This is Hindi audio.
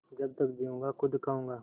जब तक जीऊँगा खुद खाऊँगा